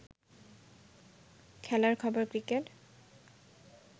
খেলার খবর ক্রিকেট